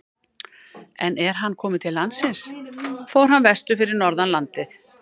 En er hann kom til landsins fór hann vestur fyrir norðan landið.